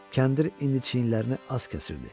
Kəndir indi çiyinlərini az kəsirdi.